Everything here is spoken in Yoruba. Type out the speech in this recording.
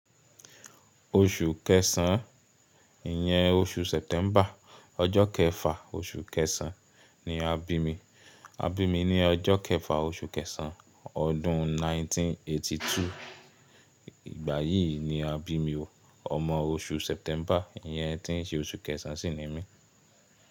Oṣù kẹsàn-án, ìyẹn oṣù September, ọjọ́ kẹfà oṣù kẹsàn-án ni a bí mi. A bí mi ní ọjọ́ kẹfà oṣù kẹsàn-án ọdún 1982. Ìgbà yìí ni a bí mi ò, ọmọ oṣù September, ìyẹn tí ń ṣe oṣù kẹsàn-án sì ni mí.